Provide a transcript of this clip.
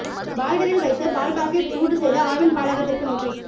பாய்லரில் வைத்து பால் பாக்கெட் சூடு செய்த ஆவின் பாலகத்திற்கு நோட்டீஸ்